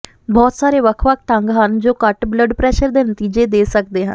ਬਹੁਤ ਸਾਰੇ ਵੱਖ ਵੱਖ ਢੰਗ ਹਨ ਜੋ ਘੱਟ ਬਲੱਡ ਪ੍ਰੈਸ਼ਰ ਦੇ ਨਤੀਜੇ ਦੇ ਸਕਦੇ ਹਨ